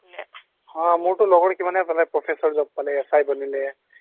হ মোৰটো লগৰ কিমানে পালে professor job পালে, SI বনিলে